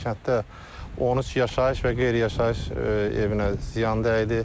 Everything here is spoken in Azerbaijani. Kənddə 13 yaşayış və qeyri-yaşayış evinə ziyan dəydi.